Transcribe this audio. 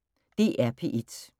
DR P1